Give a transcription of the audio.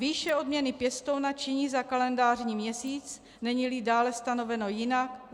Výše odměny pěstouna činí za kalendářní měsíc, není-li dále stanoveno jinak